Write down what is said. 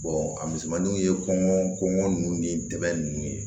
a misɛnmaninw ye kɔngɔ kɔngɔ nunnu ni dɛmɛ ninnu ye